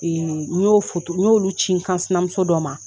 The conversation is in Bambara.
Ee n y'o foto n y'olu ci n kan sinamuso dɔ ma